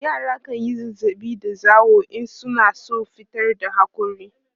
yara kanyi zazzaɓi da zawo in suna San fitar da hakori